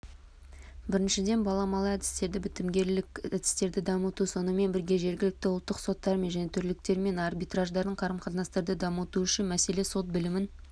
біріншіден баламалы әдістерді бітімгерлік әдістерді дамыту сонымен бірге жергілікті ұлттық соттармен және төреліктермен арбитраждармен қарым қатынастарды дамыту үшінші мәселе сот білімін